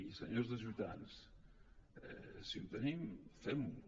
i senyors de ciutadans si ho tenim fem ho